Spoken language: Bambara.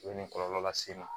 U bɛ nin kɔlɔlɔ las'i ma